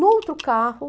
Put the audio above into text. No outro carro,